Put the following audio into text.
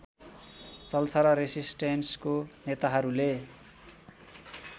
चल्छ र रेसिस्टेन्सको नेताहरूले